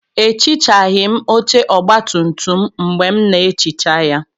Ehichaghị m oche ọgbatumtum m mgbe m na-ehicha ya.